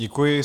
Děkuji.